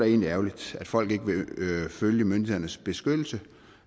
egentlig ærgerligt at folk ikke vil følge myndighedernes beslutning